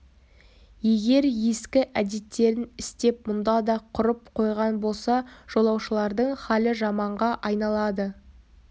егер ескі әдеттерін істеп мұнда да құрып қойған болса жолаушылардың халі жаманға айналады